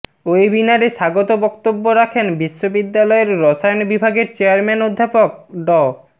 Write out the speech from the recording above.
ওয়েবিনারে স্বাগত বক্তব্য রাখেন বিশ্ববিদ্যালয়ের রসায়ন বিভাগের চেয়ারম্যান অধ্যাপক ড